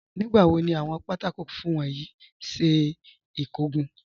Nígbàwò ni awọn pátákọ̀ fúnfún wọn yí ṣẹ ikógun?